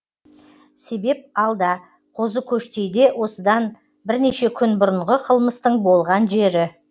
себеп алда қозыкөштейде осыдан бірнеше күн бұрынғы қылмыстың болған жері